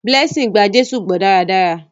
Blessing gbà Jésù gbó daradara.